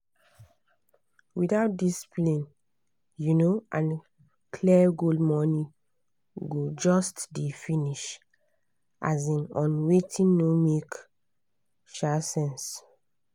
without discipline um and clear goal money go just dey finish um on wetin no make um sense.